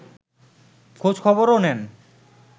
খোঁজ-খবরও নেন